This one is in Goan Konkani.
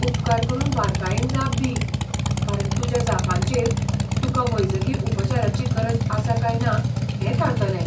उपकार करून बारकायेन जाप दी, कारण तुज्या जापांचेर तुकां वैजकी उपचाराची गरज आसा काय ना हें थारतलें.